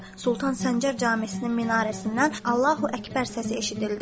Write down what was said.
Sultan Səncər Camisinin minarəsindən Allahu Əkbər səsi eşidildi.